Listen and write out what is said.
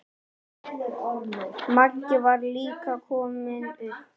Magga var líka komin upp.